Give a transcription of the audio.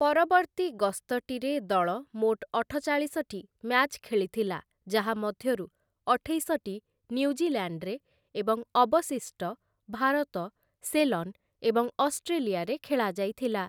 ପରବର୍ତ୍ତୀ ଗସ୍ତଟିରେ ଦଳ ମୋଟ ଅଠଚାଳିଶଟି ମ୍ୟାଚ୍ ଖେଳିଥିଲା ଯାହାମଧ୍ୟରୁ ଅଠେଇଶଟି ନ୍ୟୁଜିଲାଣ୍ଡ୍‌ରେ ଏବଂ ଅବଶିଷ୍ଟ ଭାରତ, ସେଲନ୍ ଏବଂ ଅଷ୍ଟ୍ରେଲିଆରେ ଖେଳାଯାଇଥିଲା ।